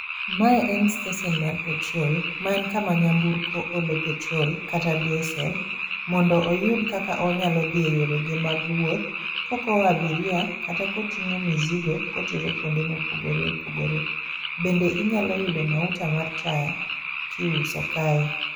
Mae en stesen mar petrol maen kama nyamburko olo petrol kata diesel mondo oyud kaka onyalo dhi e yorege mag wuoth kokowo abiria kata koting'o mizigo kotero kuonde mopogore opogore. Bende inyalo yudo mauta mar taya kiuso kae.